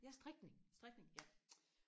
ja strikning ja